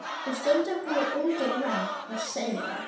Og stundum koma ungir menn og segja að